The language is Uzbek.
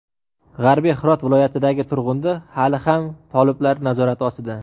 g‘arbiy Hirot viloyatidagi Turg‘undi hali ham toliblar nazorati ostida.